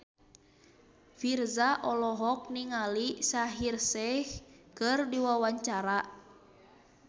Virzha olohok ningali Shaheer Sheikh keur diwawancara